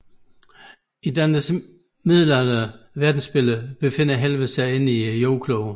I Dantes middelalderlige verdensbillede befinder Helvede sig inde i jordkuglen